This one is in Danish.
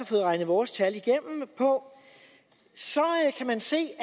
fået regnet vores tal igennem på kan man se at